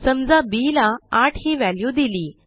समजा बी ला आठ ही व्हॅल्यू दिली